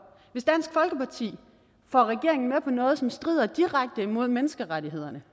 hvis dansk folkeparti får regeringen med på noget som strider direkte imod menneskerettighederne